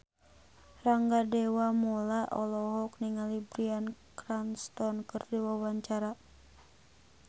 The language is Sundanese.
Rangga Dewamoela olohok ningali Bryan Cranston keur diwawancara